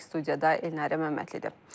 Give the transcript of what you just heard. Studiyada Elnarə Məmmədlidir.